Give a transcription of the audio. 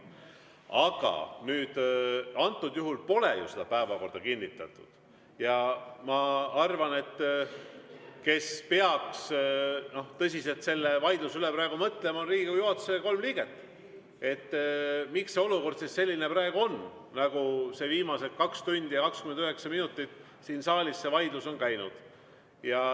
Aga antud juhul pole ju seda päevakorda kinnitatud ja ma arvan, et tõsiselt peaks selle vaidluse üle praegu mõtlema Riigikogu juhatuse kolm liiget, miks see olukord siis selline praegu on, nagu viimased 2 tundi ja 29 minutit siin saalis see vaidlus on käinud.